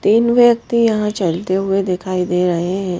तीन व्यक्ति यहां चलते हुए दिखाई दे रहे हैं।